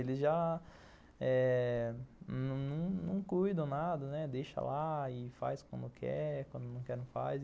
Eles já eh não não cuidam nada, deixa lá e faz quando quer, quando não quer não faz.